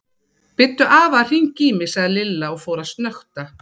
Biddu afa að hringja í mig sagði Lilla og fór að snökta.